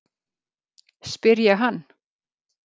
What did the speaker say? spyr ég hann.